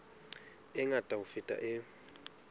e ngata ho feta e